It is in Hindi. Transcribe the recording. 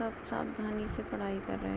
सब सावधानी से पढ़ाई कर रहे है।